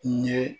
N ye